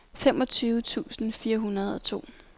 femogtyve tusind fire hundrede og to